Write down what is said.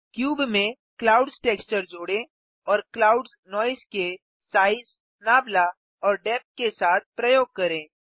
cube में clouds texture जोड़ें और क्लाउड्स नॉइज़ के साइज नाबला और डेप्थ के साथ प्रयोग करें